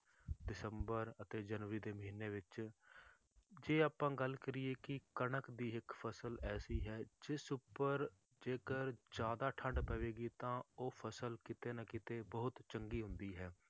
ਦਸੰਬਰ ਅਤੇ ਜਨਵਰੀ ਦੇ ਮਹੀਨੇ ਵਿੱਚ ਜੇ ਆਪਾਂ ਗੱਲ ਕਰੀਏ ਕਿ ਕਣਕ ਦੀ ਇੱਕ ਫਸਲ ਐਸੀ ਹੈ ਜਿਸ ਉੱਪਰ ਜੇਕਰ ਜ਼ਿਆਦਾ ਠੰਢ ਪਵੇਗੀ ਤਾਂ ਉਹ ਫਸਲ ਕਿਤੇ ਨਾ ਕਿਤੇ ਬਹੁਤ ਚੰਗੀ ਹੁੰਦੀ ਹੈ